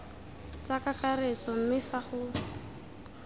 tsa kakaretso mme fa go